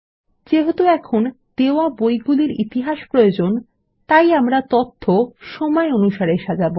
যেহেতু আমাদের দেওয়া বইগুলির ইতিহাস প্রয়োজন আমরা এটিকে সময় অনুসারে সাজাব